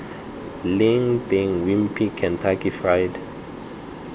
leng teng wimpy kentucky fried